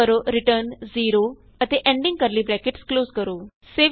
type ਕਰੋ return 0 ਅਤੇ ending curly brackets close ਕਰੋ